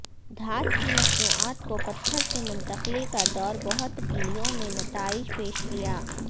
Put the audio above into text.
دھات کی مصنوعات کو پتھر سے منتقلی کا دور بہت ٹیلوں میں نتائج پیش کیا